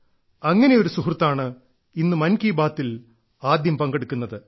അങ്ങനെ ഒരു സുഹൃത്താണ് ഇന്ന് മൻ കി ബാത്തിൽ ആദ്യം പങ്കെടുക്കുന്നത്